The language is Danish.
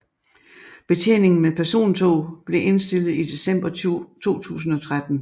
Betjeningen med persontog blev indstillet i december 2013